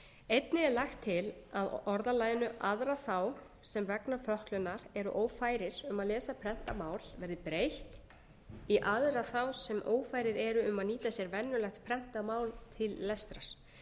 einnig er lagt til að orðalaginu aðra þá sem vegna fötlunar eru ófærir um að lesa prentað mál verði breytt í aðra þá sem ófærir eru um að nýta sér venjulegt prentað mál til lestrar